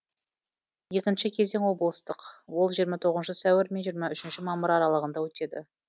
екінші кезең облыстық ол жиырма тоғызыншы сәуір мен жиыррма үшінші мамыр аралығанда өтеді